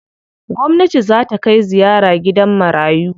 Gwamnati zaa ta kai ziyara gidan marayu.